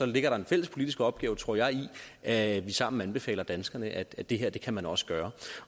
ligger der en fælles politisk opgave tror jeg i at vi sammen anbefaler danskerne at det her kan man også gøre